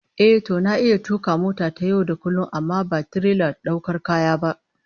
Ehh, to na iya tuka mota ta yau da kullum amma ba tirelar daukar kaya ba